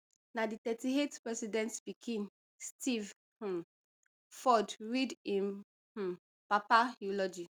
na di thirty-eightth president pikin steve um ford read im um papa eulogy